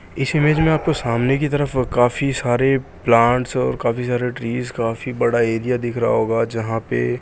इस इमेज मे आपको सामने की तरफ काफी सारे प्लांट्स और काफी सारे ट्रीज और काफी बड़ा एरिया दिख रहा होगा जहां पे --